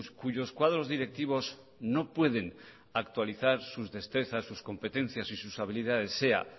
cuyos cuadros directivos no pueden actualizar sus destrezas sus competencias y sus habilidades sea